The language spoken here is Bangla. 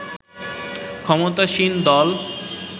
ক্ষমতাসীন দল